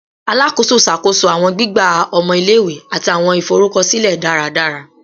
Alakoso ṣakoso awọn gbigba ọmọ ile-iwe ati awọn iforukọsilẹ daradara